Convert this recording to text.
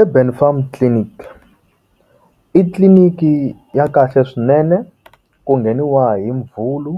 Ebelfarm Farm Clinic i tliliniki ya kahle swinene ku ngheniwa hi muvhulu